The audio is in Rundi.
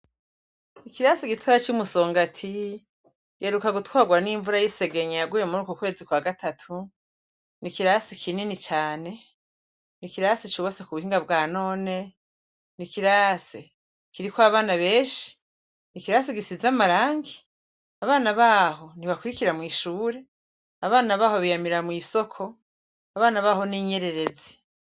Ikirasi gitora c'umusongati giheruka gutwarwa n'imvura y'isegenye yaguye muri uku kwezi kwa gatatu n'ikirasi kinini cane, n'ikirase c'ubatswe ku buhinga bwa none ni kirase kiriko abana benshi ikirasi gisize amarangi, abana baho ntibakuirikira mw'ishure, abana baho biyamira mw'isoko, abana baho n'inyererezi.